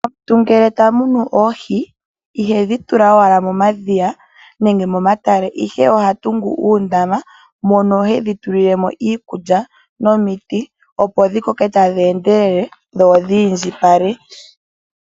Aantu ngele taya munu oohi ihaye dhi tula owala momadhiya nenge momatale ihe ohaya vulu okutunga uundama mono haye dhitulile mo iikulya opo dhi koke tadhi endelele dho dhi i ndjipale.